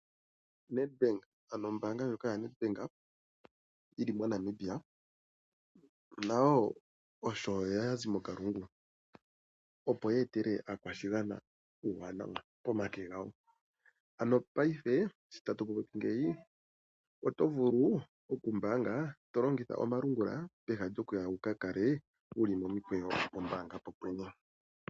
Nedbank, ano ombaanga ndjoka yoNedbank yi li moNamibia, nayo osho ya zi mokalungu, opo yeetele aakwashigwana uuwanawa pomake gawo. Ano paife sho tatu popi ngeyi, oto vulu okumbaanga to longitha omalungula peha lyokuya wu ka kale wu li momikweyo pombaanga popwene.